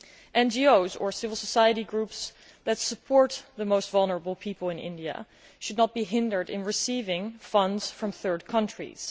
NGOs or civil society groups that support the most vulnerable people in India should not be hindered from receiving funds from third countries.